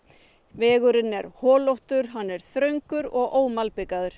vegurinn er holóttur hann er þröngur og